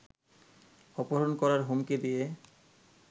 অপহরণ করার হুমকি দিয়ে